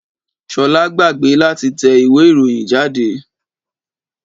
3. Ṣolá gbàgbé láti tẹ ìwé ìròyìn jáde.